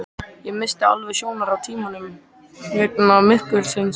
Ég missti alveg sjónar á tímanum vegna myrkursins